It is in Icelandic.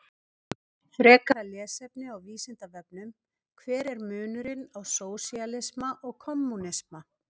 Frekara lesefni á Vísindavefnum: Hver er munurinn á sósíalisma og kommúnisma?